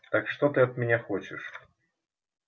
так что ты от меня хочешь